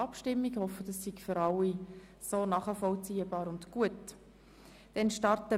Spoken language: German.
Ich hoffe das ist für alle nachvollziehbar und in Ordnung.